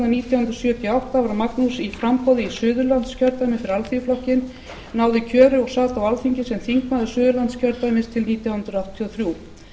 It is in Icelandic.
nítján hundruð sjötíu og átta var magnús í framboði í suðurlandskjördæmi fyrir alþýðuflokkinn náði kjöri og sat á alþingi sem þingmaður suðurlandskjördæmis til nítján hundruð áttatíu og þrjú